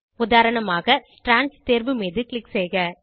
உதாரணமாக ஸ்ட்ராண்ட்ஸ் தேர்வு மீது க்ளிக் செய்க